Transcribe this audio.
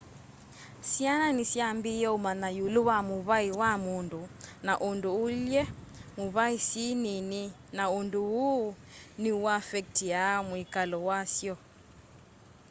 syana nisyambiaa umanya iulu wa mûvai wa mundu na undu uilye muvaî syi nini na undu uu ni uaffectiaa mwikalo wasyo